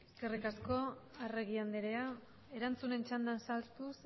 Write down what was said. eskerrik asko arregi andrea erantzunen txandan sartuz